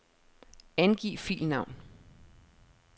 Angiv filnavn.